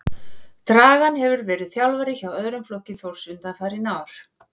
Dragan hefur verið þjálfari hjá öðrum flokki Þórs undanfarin ár.